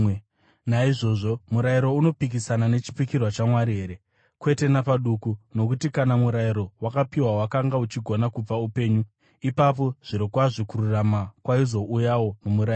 Naizvozvo, murayiro unopikisana nechipikirwa chaMwari here? Kwete napaduku! Nokuti kana murayiro wakapiwa wakanga uchigona kupa upenyu, ipapo zvirokwazvo kururama kwaizouyawo nomurayiro.